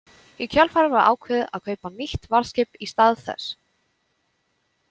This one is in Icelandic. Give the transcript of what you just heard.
Í kjölfarið var ákveðið að kaupa nýtt varðskip í stað þess.